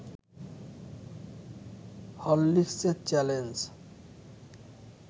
হরলিকসের challenge